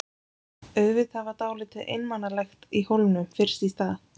Auðvitað var dálítið einmanalegt í Hólminum fyrst í stað.